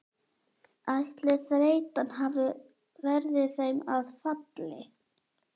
Ætli þreytan verði þeim að falli?